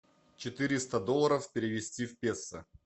четыреста долларов перевести в песо